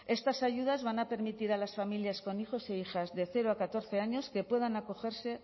estas ayudas van a permitir a las familias con hijos e hijas de cero a catorce años que puedan acogerse